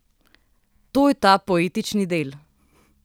To je ta poetični del.